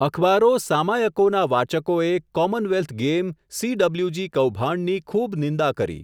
અખબારો, સામાયકોના વાચકોએ Commonwealth game, C W G કૌભાંડ ની ખૂબ નિંદા કરી.